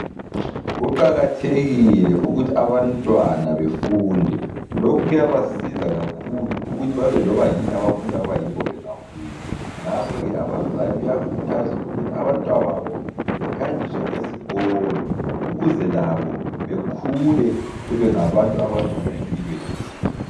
Kuqakathekile ukuthi abantwana befunde lokhu kuyabasiza kakhulu .Ukuthi babe lobayini abafuna ukuba yikho bengakhula .Ngakhoke abazali kuyakhuthazwa ukuthi abantwababo behanjiswe esikolo. Ukuze labo bekhule bebengabantu abangcono empilweni .